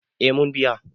eh mun biya